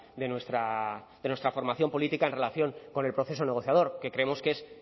de nuestra formación política en relación con el proceso negociador que creemos que es